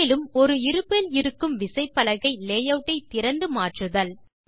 மேலும் ஒரு இருப்பில் இருக்கும் விசைப்பலகை லேயூட் ஐ திறந்து மாற்றுதல்